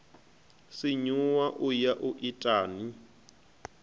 sinyuwa u ya u itani